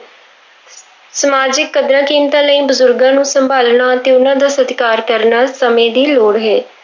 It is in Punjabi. ਸਮਾਜਿਕ ਕਦਰਾਂ ਕੀਮਤਾਂ ਲਈ ਬਜ਼ੁਰਗਾਂ ਨੂੰ ਸੰਭਾਲਣਾ ਤੇ ਉਹਨਾਂ ਦਾ ਸਤਿਕਾਰ ਕਰਨਾ ਸਮੇਂ ਦੀ ਲੋੜ ਹੈ।